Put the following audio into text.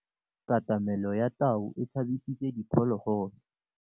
Katamêlô ya tau e tshabisitse diphôlôgôlô.